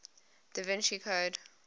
da vinci code